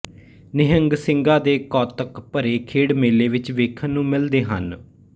ਨਿਹੰਗ ਸਿੰਘਾਂ ਦੇ ਕੌਤਕ ਭਰੇ ਖੇਡ ਮੇਲੇ ਵਿਚ ਵੇਖਣ ਨੂੰ ਮਿਲਦੇ ਹਨ